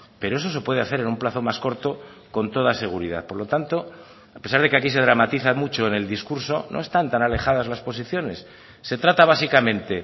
pero eso se puede hacer en un plazo más corto con toda seguridad por lo tanto a pesar de que aquí se dramatiza mucho en el discurso no están tan alejadas las posiciones se trata básicamente